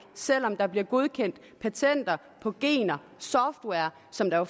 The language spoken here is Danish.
selv om der bliver godkendt patenter på gener og software som der